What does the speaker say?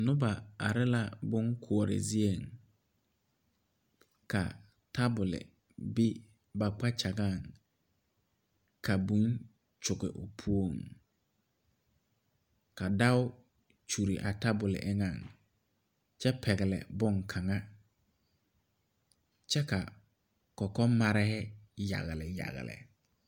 Noba are la bonkoɔre zieŋ ka tabol be ba kpakyagaŋ ka būū kyoge o poɔŋ ka dao kyure a tabol eŋɛŋ kyɛ pɛgle bonkaŋa kyɛ ka kɔkɔmarehi yagle yagle.